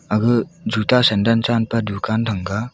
aga juta sandan chan pe dukan sanga.